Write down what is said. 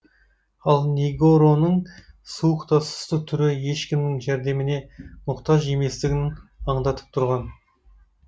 ал негороның суық та сұсты түрі ешкімнің жәрдеміне мұқтаж еместігін аңдатып тұрған